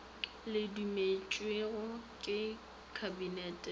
di dumetšwego ke kabinete di